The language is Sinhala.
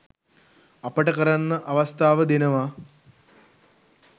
අපටකරන්න අවස්ථාව දෙනව